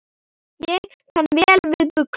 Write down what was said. Ég kann vel við buxur.